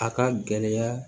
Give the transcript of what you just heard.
A ka gɛlɛya